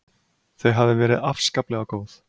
Þau hafi verið afskaplega góð.